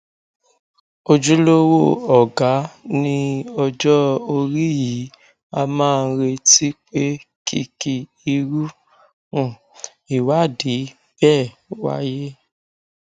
ojúlówó ọgá ní ọjọ orí yìí a máa ń retí pé kí kí irú um ìwádìí bẹẹ wáyé